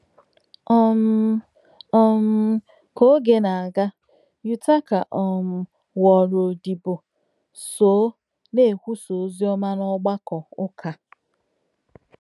um um Ka oge na-aga, Yutaka um ghọọrọ odibo so na-ekwusa ozi ọma n’ọgbakọ ụka a.